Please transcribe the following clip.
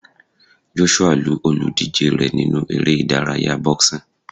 Joshua lu olùdíje rẹ̀ nínú eré ìdárayá boxing.